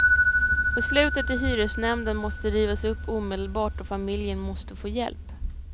Beslutet i hyresnämnden måste rivas upp omedelbart och familjen måste få hjälp.